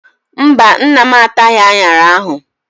Mba, nna m ataghị aṅara ahụ.